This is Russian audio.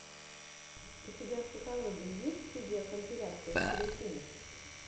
у тебя в каталоге есть видеокомпиляция скрим инк